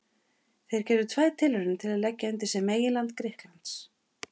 Þeir gerðu tvær tilraunir til að leggja undir sig meginland Grikklands.